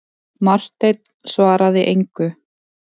Marteinn svaraði engu.